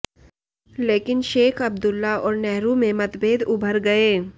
लेकिन शेख अब्दुल्ला और नेेहरू में मतभेद उभर गए